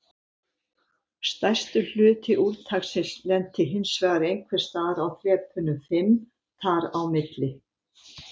Stærstur hluti úrtaksins lenti hinsvegar einhvers staðar á þrepunum fimm þar á milli.